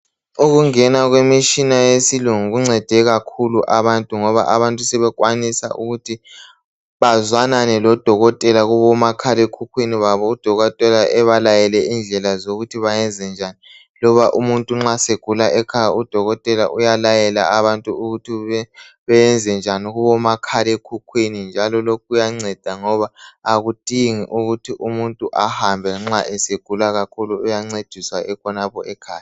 Ukungena kwemishina yesilungu kuncede kakhulu abantu ngoba abantu sebekwanisa ukuthi bazwanane lodokotela kubomakhalekhukhwini babo odokotela ebalayele indlela zokuthi bayenze njani loba umuntu nxa segula ekhaya udokotela uyalayela abantu ukuthi benze njani kubomakhalekhukhwini njalo lokhu kuyanceda ngoba akudingi ukuthi umuntu ahambe nxa esegula kakhulu uyancediswa ekhonapho ekhaya.